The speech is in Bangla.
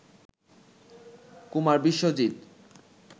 কুমার বিশ্বজিৎ